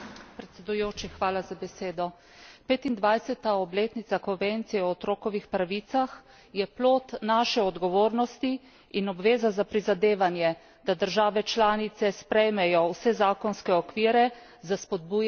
25. obletnica konvencije o otrokovih pravicah je plod naše odgovornosti in obveza za prizadevanje, da države članice sprejmejo vse zakonske okvire za spodbujanje in zaščito otrokovih pravic.